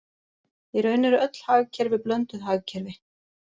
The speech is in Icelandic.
Í raun eru öll hagkerfi blönduð hagkerfi.